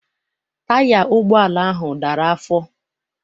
Taya ụgbọala ahụ dara afọ.